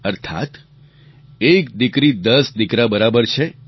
અર્થાત્ એક દીકરી દસ દીકરા બરાબર છે